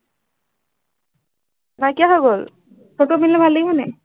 নাইকিয়া হৈ গল। সেইটো পিন্ধিলে ভাল লাগিব নি?